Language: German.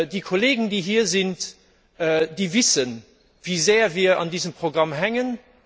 Die Kollegen, die hier sind, wissen, wie sehr wir an diesem Programm hängen.